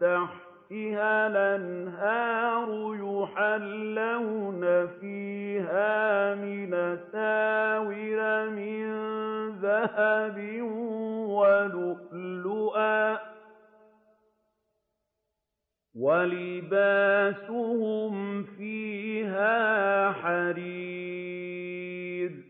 تَحْتِهَا الْأَنْهَارُ يُحَلَّوْنَ فِيهَا مِنْ أَسَاوِرَ مِن ذَهَبٍ وَلُؤْلُؤًا ۖ وَلِبَاسُهُمْ فِيهَا حَرِيرٌ